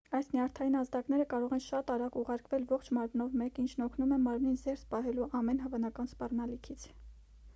այս նյարդային ազդակները կարող են շատ արագ ուղարկվել ողջ մարմնով մեկ ինչն օգնում է մարմնին զերծ պահելու ամեն հավանական սպառնալիքից